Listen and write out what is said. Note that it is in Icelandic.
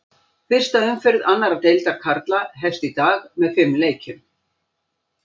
Fyrsta umferð annar deildar karla hefst í dag með fimm leikjum.